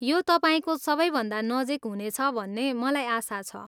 यो तपाईँको सबैभन्दा नजिक हुनेछ भन्ने मलाई आशा छ।